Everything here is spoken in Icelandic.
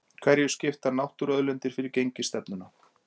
Hverju skipta náttúruauðlindir fyrir gengisstefnuna?